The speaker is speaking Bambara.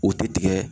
U tɛ tigɛ